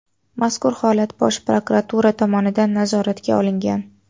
Mazkur holat Bosh prokuratura tomonidan nazoratga olingan.